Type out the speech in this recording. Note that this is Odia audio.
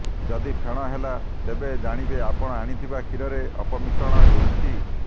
ଯଦି ଫେଣ ହେଲା ତେବେ ଜାଣିବେ ଆପଣ ଆଣିଥିବା କ୍ଷୀରରେ ଅପମିଶ୍ରଣ ହୋଇଛି